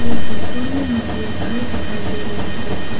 इस फोटो में मुझे घर दिखाई दे रही है।